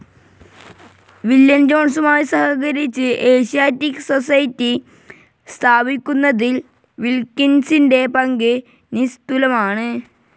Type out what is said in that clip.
William ജോൺസുമായി സഹകരിച്ച് Asiatic society സ്ഥാപിയ്ക്കുന്നതിൽ വിൽകിൻസിന്റെ പങ്ക് നിസ്തുലമാണ്.